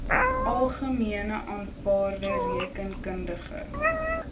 algemene aanvaarde rekeningkundige